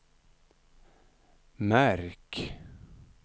märk